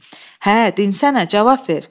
Hə, dinsənə, cavab ver!